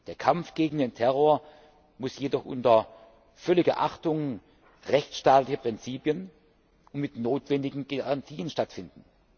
Der Kampf gegen den Terror muss jedoch unter völliger Achtung rechtsstaatlicher Prinzipien und mit den notwendigen Garantien stattfinden.